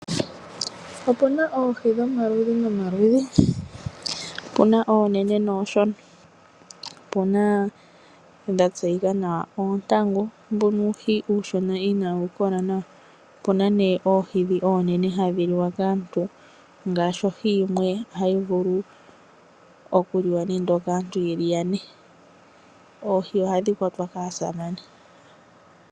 Opuna oohi dhomaludhi nomaludhi. Opuna oonene noonshona . Opuna ndhoka dha tseyika nawa oontangu, mbuno uuhi uushona inawukola nawa . opuna nee oohi ndhi oonene hadhi liwa kaantu ngaashi ohi yimwe ohayi vulu okuliwa nande okaantu yeli yane. Oohi ohadhi kwatwa kaasamane.